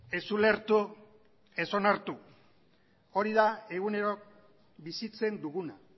ez ulertu ez onartu hori da egunero bizitzen duguna